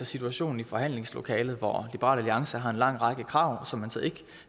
situation i forhandlingslokalet hvor liberal alliance har en lang række krav som man så